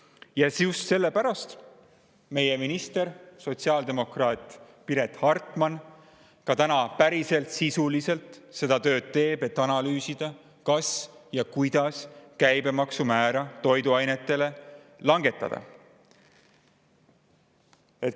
Ja just sellepärast meie minister, sotsiaaldemokraat Piret Hartman teeb päriselt, sisuliselt tööd, et analüüsida, kas siis kuidas toiduainetel käibemaksumäära langetada.